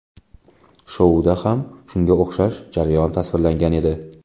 Shouda ham shunga o‘xshash jarayon tasvirlangan edi.